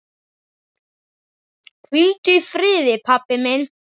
Hvíldu í friði, pabbi minn.